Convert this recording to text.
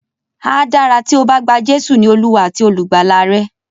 Á dára tí o bá gba Jésù ní Olúwa àti olùgbàlà rẹ.